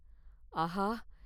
ஆஹா!